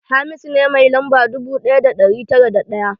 Hamisu ne mai lamba dubu ɗaya da ɗari tara da ɗaya